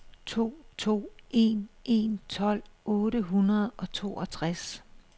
to to en en tolv otte hundrede og toogtres